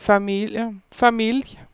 familj